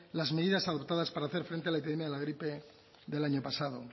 las medidas adoptadas para hacer frente a la epidemia de la gripe del año pasado